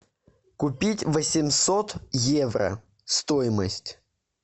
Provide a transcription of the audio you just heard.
купить восемьсот евро стоимость